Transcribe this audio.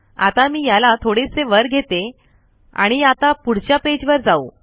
आता मी याला थोडेसे वर घेते आणि आता पुढच्या पेज वर जाऊ